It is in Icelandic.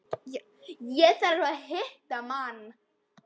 Ég þarf að hitta mann.